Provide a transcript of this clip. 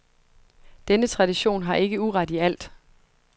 Denne tradition har ikke uret i alt.